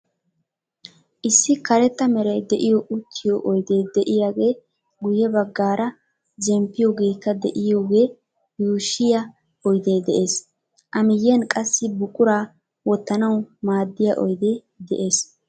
Issi karetta meray de"iyo uttiyo oydee de"iyaagee guyye baggaara zemppiyoogeekka de"iyoogee yuushshiyaa oydee de'ees. A miyiyan qassi buquraa wottanawu maaddiyaa oydee de'ees.